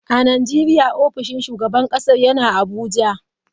A Najeriya ofishin shugaban kasar yana Abuja.